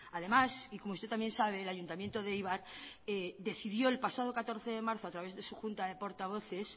además y como usted también sabe el ayuntamiento de eibar decidió el pasado catorce de marzo a través de su junta de portavoces